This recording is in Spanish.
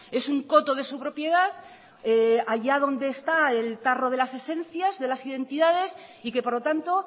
es un coto de su propiedad allá donde está el tarro de las esencias de las identidades y que por lo tanto